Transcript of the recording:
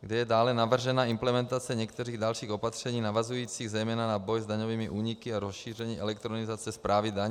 kde je dále navržena implementace některých dalších opatření navazujících zejména na boj s daňovými úniky a rozšíření elektronizace správy daní.